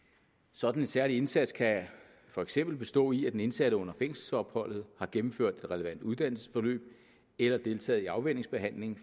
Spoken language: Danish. sådan en særlig indsats kan for eksempel bestå i at den indsatte under fængselsopholdet har gennemført et relevant uddannelsesforløb eller deltaget i afvænningsbehandling